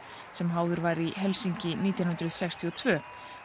sem háður var í Helsinki nítján hundruð sextíu og tvö